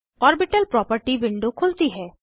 orbital property window खुलती है